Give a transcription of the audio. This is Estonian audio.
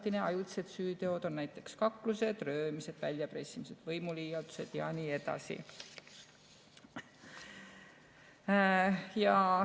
Ajutise süüteod on näiteks kaklused, röövimised, väljapressimised, võimuliialdused jne.